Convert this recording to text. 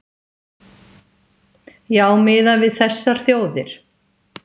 Já miðað við þessar þjóðir